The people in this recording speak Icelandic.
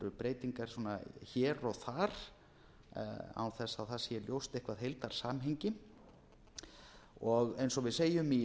breytingar svona hér og þar án þess að það sé ljóst eitthvert heildarsamhengi og eins og við segjum í